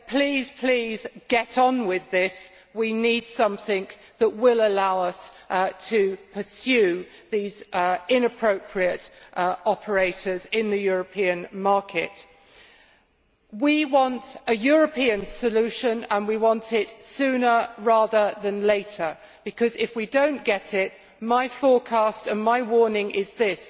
Please, please, get on with this we need something that will allow us to pursue these inappropriate operators in the European market. We want a European solution, and we want it sooner rather than later, because, if we do not get it, my forecast and my warning is this